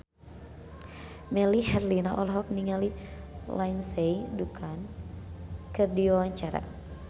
Melly Herlina olohok ningali Lindsay Ducan keur diwawancara